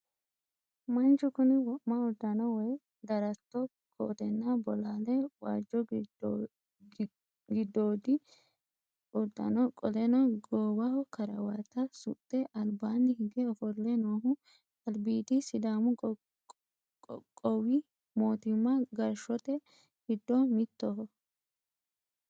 Manchu kuni wo'ma uddano woy daratto kootenna bolaae, waajjo giddoodi uddano qoleno goowaho karawata suxxe albaanni hige ofolle noohu albiidi sidaamu qoqqowimootimma gashshoot giddo mittoho.